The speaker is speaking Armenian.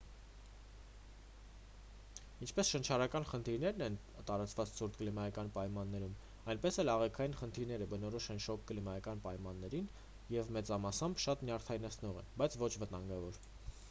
ինչպես շնչառական խնդիրներն են տարածված ցուրտ կլիմայական պայմաններին այնպես էլ աղիքային խնդիրները բնորոշ են շոգ կլիմայական պայմաններին և մեծամասամբ շատ նյարդայնացնող են բայց ոչ վտանգավոր